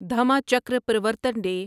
Dhamma Chakra Pravartan day